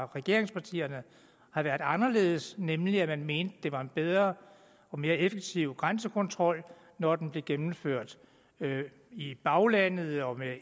regeringspartierne har været anderledes nemlig at man mente at det var en bedre og mere effektiv grænsekontrol når den blev gennemført i baglandet og med